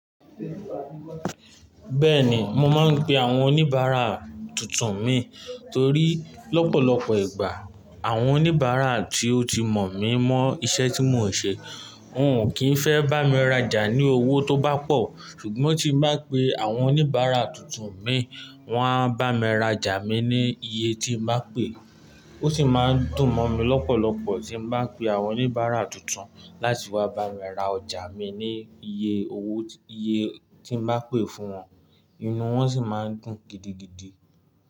Bẹ́ẹ̀ni, mo máa ń pe àwọn oníbàárà tuntun mi torí lọ́pọ̀lọpọ̀ ìgbà àwọn oníbàárà tí ó ti mọ̀ mí mọ́ iṣẹ́ tí mò ń ṣe, wọ́n ò kí ń fẹ́ bá mi rajà ní owó tó bá pọ̀, ṣùgbọ́n tí mo bá pe àwọn oníbàárà tuntun mi, wọ́n á bá mi rajà mi ní iye tí mo bá pè é. Ó sì máa ń dùn mọ́ mi lọ́pọ̀lọpọ̀ tí mo bá ń pe àwọn oníbàárà tuntun láti wá bá mi ra ọjà mi ní iye owó, iye tí ń bá pè fún wọn, inú wọn sì máa ń dùn gidigidi.